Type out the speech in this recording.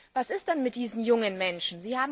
Was ist denn mit diesen jungen Menschen?